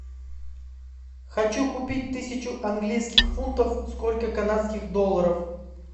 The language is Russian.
хочу купить тысячу английских фунтов сколько канадских долларов